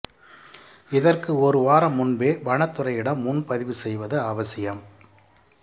இதற்கு ஒரு வாரம் முன்பே வனத்துறையிடம் முன்பதிவு செய்வது அவசியம்